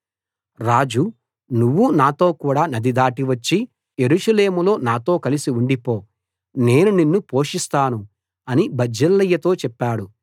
రాజు నువ్వు నాతోకూడ నది దాటి వచ్చి యెరూషలేములో నాతో కలసి ఉండిపో నేను నిన్ను పోషిస్తాను అని బర్జిల్లయితో చెప్పాడు